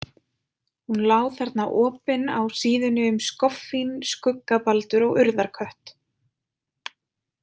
Hún lá þarna opin á síðunni um skoffín, skuggabaldur og urðarkött.